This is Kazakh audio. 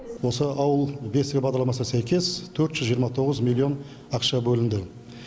осы ауыл бесігі бағдарламасына сәйкес төрт жүз жиырма тоғыз миллион ақша бөлінді